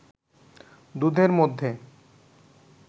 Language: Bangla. দুধের মধ্যে